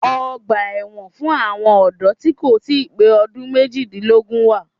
Ọgbà ẹ̀wọ̀n fún àwọn ọ̀dọ́ tí kò ì pé ọdún méjìdínlógún wà